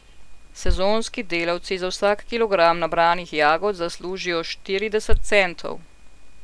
Sezonski delavci za vsak kilogram nabranih jagod zaslužijo štirideset centov.